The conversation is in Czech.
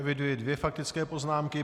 Eviduji dvě faktické poznámky.